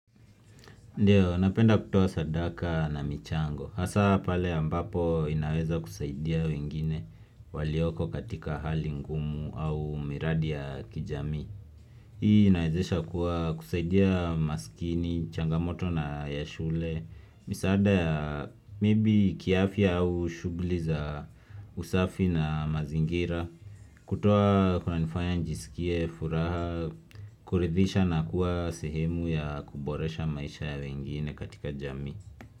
Ndiyo, napenda kutoa sadaka na michango. Hasa pale ambapo inaweza kusaidia wengine walioko katika hali ngumu au miradi ya kijamii. Hii inawezesha kwa kusaidia masikini, changamoto na ya shule, misaada ya maybe kiafya au shughuli za usafi na mazingira, kutoa kunanifanya njisikie furaha, kuridhisha na kuwa sehemu ya kuboresha maisha ya wengine katika jamii.